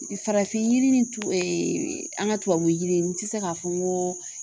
I farafin yiri ni tu ee an ga tubabu yiriw n te se k'a fɔ n goo